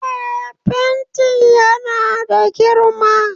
Eh, fentin yana da girma